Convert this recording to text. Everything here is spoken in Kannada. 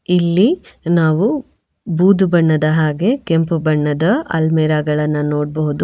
ಇಲ್ಲಿ ನಾವು ಬೂದು ಬಣ್ಣದ ಹಾಗೆ ಕೆಂಪು ಬಣ್ಣದ ಅಲ್ಮೆರ ಗಳನ್ನು ನೋಡಬಹುದು.